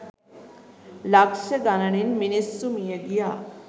ලක්ෂ ගණනින් මිනිස්සු මිය ගියා.